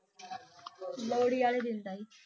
ਲੋਹੜੀ ਆਲੇ ਦਿਨ ਦਾ ਈ